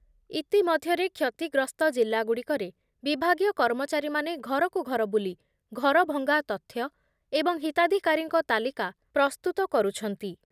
ଇତିମଧ୍ଯରେ କ୍ଷତିଗ୍ରସ୍ତ ଜିଲ୍ଲାଗୁଡ଼ିକରେ ବିଭାଗୀୟ କର୍ମଚାରୀମାନେ ଘରକୁ ଘର ବୁଲି ଘରଭଙ୍ଗା ତଥ୍ୟ ଏବଂ ହିତାଧିକାରୀଙ୍କ ତାଲିକା ପ୍ରସ୍ତୁତ କରୁଛନ୍ତି